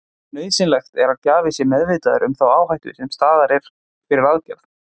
Nauðsynlegt er að gjafi sé meðvitaður um þá áhættu sem er til staðar fyrir aðgerð.